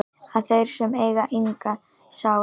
að þeir sem eiga enga sál